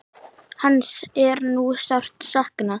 Hans er nú sárt saknað.